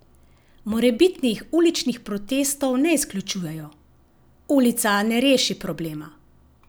Morebitnih uličnih protestov ne izključuje: "Ulica ne reši problema.